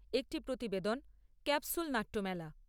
একটি প্রতিবেদন ক্যাপসুল নাট্য মেলা।